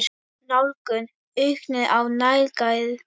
Nálgun: aukning á nálægð?